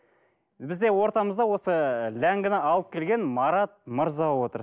бізде ортамызда осы ләңгіні алып келген марат мырза отыр